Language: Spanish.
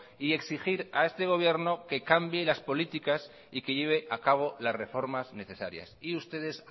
y exigir a este gobierno que cambie las políticas y que lleve a cabo las reformas necesarias y ustedes